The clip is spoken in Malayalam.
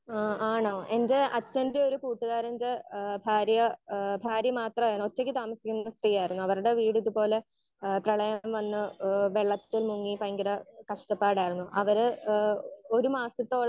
സ്പീക്കർ 1 ആഹ് ആണോ എന്റെ അച്ഛന്റെ ഒരു കൂട്ടുകാരന്റെ ഏഹ് ഭാര്യ ഭാര്യ മാത്രാണ് ഒറ്റക്ക് താമസിക്കുന്ന സ്ത്രീ ആണ്. അവരുടെ വീട് ഇത് പോലെ ഏഹ് പ്രളയം വന്ന് ഏഹ് വെള്ളത്തിൽ മുങ്ങി ഭയങ്കര കഷ്ട്ടപ്പാടായിരുന്നു. അവര് ഏഹ് ഒരു മാസത്തോളം